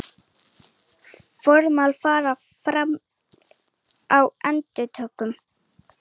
Formlega farið fram á endurupptöku